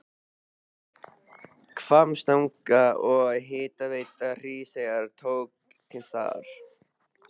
Hvammstanga og Hitaveita Hríseyjar tóku til starfa.